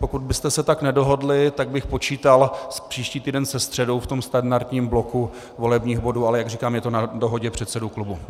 Pokud byste se tak nedohodli, tak bych počítal příští týden se středou v tom standardním bloku volebních bodů, ale jak říkám, je to na dohodě předsedů klubů.